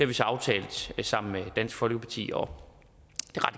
vi så aftalt sammen med dansk folkeparti og